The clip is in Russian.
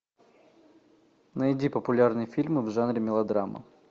найди популярные фильмы в жанре мелодрама